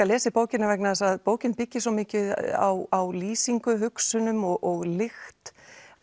lesið bókina vegna þess að bókin byggir svo mikið á lýsingu hugsunum og lykt